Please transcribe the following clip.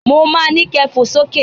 Mo ma ni kẹ fò sókè